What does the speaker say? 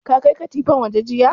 Ka kai katifan waje jiya?